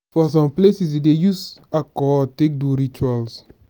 for some places dem dey use alcohol take do rituals.